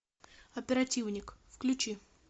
оперативник включи